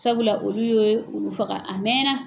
Sabula olu y'o faga a mɛnna